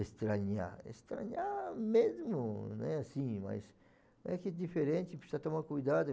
Estranhar, estranhar mesmo, não é assim, mas é que é diferente, precisa tomar cuidado.